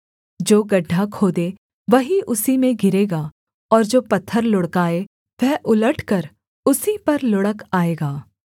जो गड्ढा खोदे वही उसी में गिरेगा और जो पत्थर लुढ़काए वह उलटकर उसी पर लुढ़क आएगा